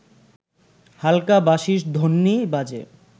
হালকা বাঁশির ধ্বনি বাজে